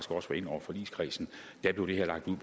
også var inde over forligskredsen blev lagt ud